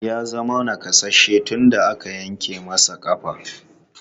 Ya zama nakasasshe tun da aka yanke masa ƙafa.